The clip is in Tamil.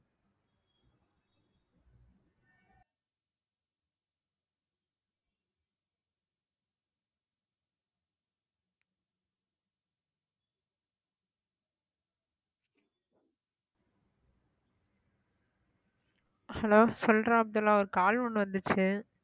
hello சொல்றா அப்துல்லாஹ் ஒரு call ஒண்ணு வந்துச்சு